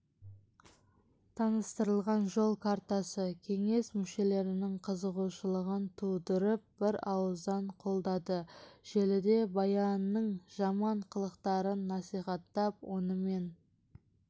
таныстырылған жол картасы кеңес мүшелерінің қызығушылығын тудырып бір ауыздан қолдады желіде баянның жаман қылықтарын насихаттап онымен